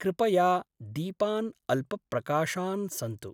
कृपया दीपान् अल्पप्रकाशान् सन्तु।